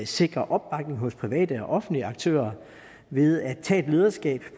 sikre opbakning hos private og offentlige aktører ved at tage et lederskab